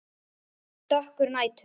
Dökkur nætur